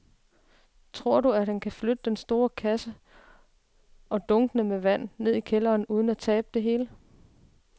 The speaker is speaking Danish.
Tror du, at han kan flytte den store kasse og dunkene med vand ned i kælderen uden at tabe det hele?